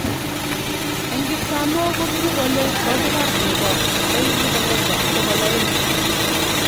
Eng kipsamoo kubru kole kokibar nego 1200.